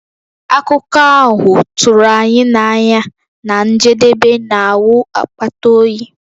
Akụkọ ahụ tụrụ anyị n'anya na njedebe na-awụ akpata oyi.